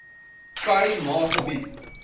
khai ma gebied